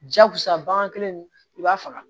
Jakusa bagan ninnu i b'a faga